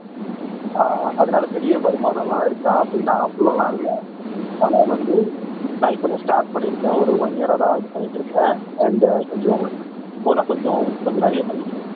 ஆஹ் அதனால பெரிய வருமானம் எல்லாம் இருக்கா அப்படின்னா அவ்ளோ எல்லாம் இல்ல ஆனா வந்து நான் இப்பதான் ஸ்டார்ட் பண்ணிருக்கேன் ஒரு ஒன் இயர் ஆதான் இது பண்ணிட்டு இருக்கேன் அண்ட் கொஞ்சம் இப்போ நான் கொஞ்சம் கொஞ்சம் நிறையா பண்ணிட்டு இருக்கேன்